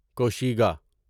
کوشیگا